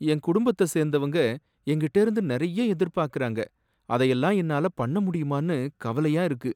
என் குடும்பத்த சேர்ந்தவங்க என்கிட்டேந்து நிறைய எதிர்பார்க்கிறாங்க அதயெல்லாம் என்னால பண்ண முடியுமான்னு கவலையா இருக்கு.